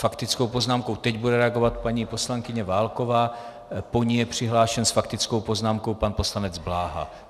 Faktickou poznámkou teď bude reagovat paní poslankyně Válková, po ní je přihlášen s faktickou poznámkou pan poslanec Bláha.